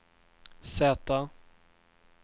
Z